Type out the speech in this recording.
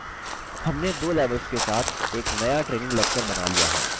हमने दो levels के साथ एक नया training lecture बना लिया है!